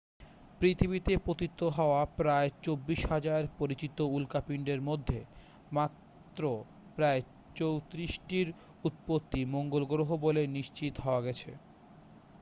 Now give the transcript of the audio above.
পৃথিবীতে পতিত হওয়া প্রায় 24,000 পরিচিত উল্কাপিণ্ডের মধ্যে মাত্র প্রায় 34 টির উৎপত্তি মঙ্গল গ্রহে বলে নিশ্চিত হওয়া গেছে